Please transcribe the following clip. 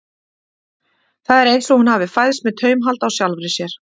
Það er eins og hún hafi fæðst með taumhald á sjálfri sér.